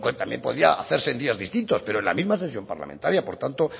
también podía hacerse en días distintos pero en la misma sesión parlamentaria por tanto